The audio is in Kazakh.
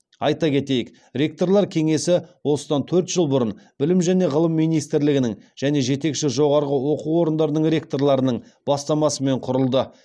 айта кетейік ректорлар кеңесі осыдан төрт жыл бұрын білім және ғылым министрлігінің және жетекші жоғарғы оқу орындарының ректорларының бастамасымен құрылды